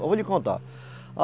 Vou lhe contar.